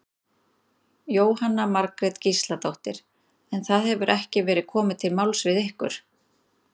Jóhanna Margrét Gísladóttir: En það hefur ekki verið komið til máls við ykkur?